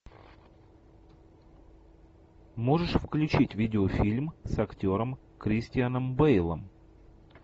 можешь включить видеофильм с актером кристианом бейлом